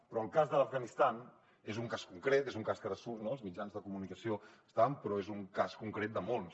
però el cas de l’afganistan és un cas concret és un cas que ara surt als mitjans de comunicació bastant però és un cas concret de molts